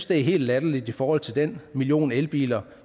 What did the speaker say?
det er helt latterligt i forhold til den million elbiler